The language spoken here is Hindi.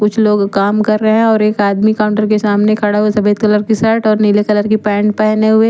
कुछ लोग कम कर रहे हे और एक आदमी काउंटर के सामने खडा सफ़ेद कलर की सट और नील कलर की पेंट पहने हुए हे ।